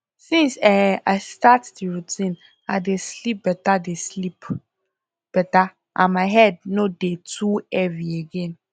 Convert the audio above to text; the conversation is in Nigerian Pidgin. since um i start the routine i dey sleep better dey sleep better and my head no dey too heavy again